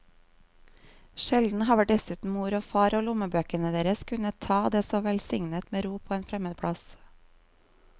Sjelden har vel dessuten mor og far og lommebøkene deres kunnet ta det så velsignet med ro på en fremmed plass.